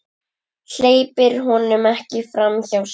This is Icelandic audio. Hleypir honum ekki framhjá sér.